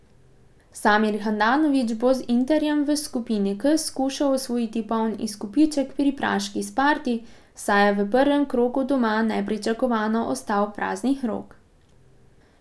Samir Handanović bo z Interjem v skupni K skušal osvojiti poln izkupiček pri praški Sparti, saj je v prvem krogu doma nepričakovano ostal praznih rok.